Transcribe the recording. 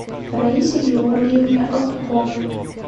раисе георгиевне алтуховой